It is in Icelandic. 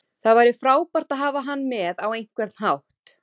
Það væri frábært að hafa hann með á einhvern hátt.